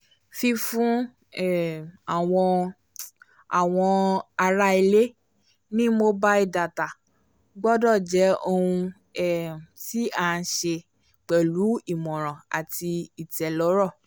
fífún um àwọn àwọn ará ilé ní mobile data gbọ́dọ̀ jẹ́ ohun um tí a ṣe pẹ̀lú ìmọ̀ràn àti ìtẹ̀lọ́rọ̀